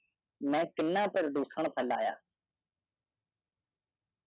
ਦੂਜਿਆਂ ਦੀ ਕਲਾ ਨੂੰ ਫੈਲਾਓ